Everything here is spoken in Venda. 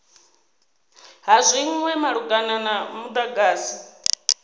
ha zwinwe malugana na mudagasi